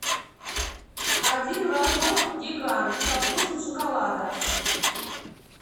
один рожок гигант со вкусом шоколада